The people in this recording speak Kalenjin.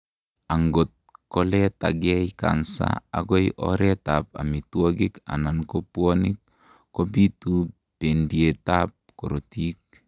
angot koletagei cancer agoi oret ab omitwogik anan ko pwonik, kobitu bendiet ab korotik